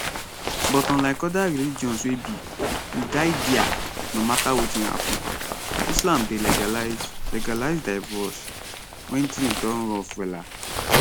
but unlike oda religions wey be we die dia no mata wetin happun islam dey legalize legalize divroce wen tins don rough wella